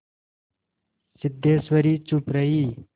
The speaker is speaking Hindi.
सिद्धेश्वरी चुप रही